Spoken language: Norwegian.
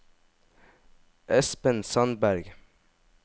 Espen Sandberg